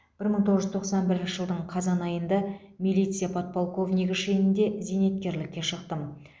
бір мың тоғыз жүз тоқсан бірінші жылдың қазан айында милиция подполковнигі шенінде зейнеткерлікке шықтым